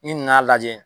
N'i nan'a lajɛ